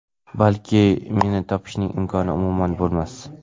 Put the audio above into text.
Balki, meni topishning imkoni umuman bo‘lmas.